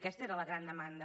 aquesta era la gran demanda